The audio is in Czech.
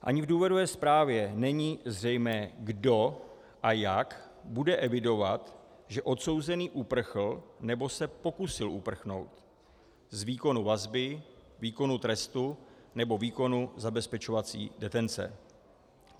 Ani v důvodové zprávě není zřejmé, kdo a jak bude evidovat, že odsouzený uprchl nebo se pokusil uprchnout z výkonu vazby, výkonu trestu nebo výkonu zabezpečovací detence.